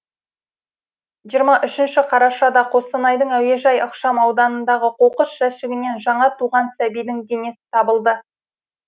жиырма үшінші қарашада қостанайдың әуежай ықшам ауданындағы қоқыс жәшігінен жаңа туған сәбидің денесі табылды